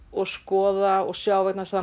og skoða og sjá vegna þess að